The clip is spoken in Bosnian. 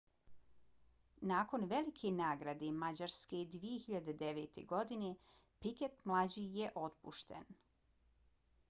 nakon velike nagrade mađarske 2009. godine piquet mlađi je otpušten